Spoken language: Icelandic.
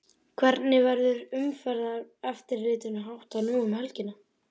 Hvernig verður umferðareftirlitinu háttað nú um helgina?